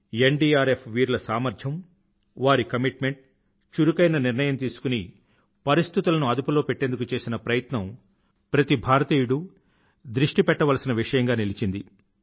NDRF వీరుల సామర్థ్యం వారి కమిట్మెంట్ చురుకైన నిర్ణయం తీసుకుని పరిస్థితులను అదుపులో పెట్టేందుకు చేసిన ప్రయత్నం ప్రతి భారతీయుడూ దృష్టి పెట్టవలసిన విషయంగా నిలిచింది